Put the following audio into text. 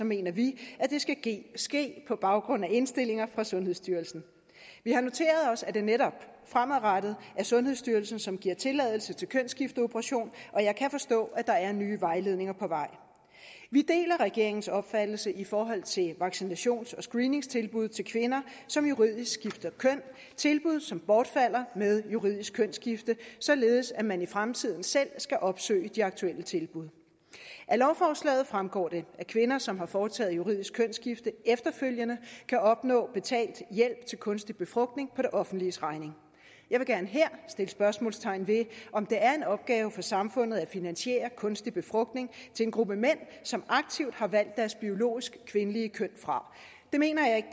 mener vi at det ske på baggrund af indstillinger fra sundhedsstyrelsen vi har noteret os at det netop fremadrettet er sundhedsstyrelsen som giver tilladelse til kønsskifteoperation og jeg kan forstå at der er nye vejledninger på vej vi deler regeringens opfattelse i forhold til vaccinations og screeningstilbud til kvinder som juridisk skifter køn tilbud som bortfalder med juridisk kønsskifte således at man i fremtiden selv skal opsøge de aktuelle tilbud af lovforslaget fremgår det at kvinder som har foretaget juridisk kønsskifte efterfølgende kan opnå betalt hjælp til kunstig befrugtning på det offentliges regning jeg vil gerne her sætte spørgsmålstegn ved om det er en opgave for samfundet at finansiere kunstig befrugtning til en gruppe mænd som aktivt har valgt deres biologisk kvindelige køn fra det mener jeg ikke